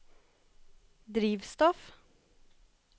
drivstoff